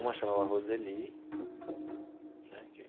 Uma chamava Roseli né que.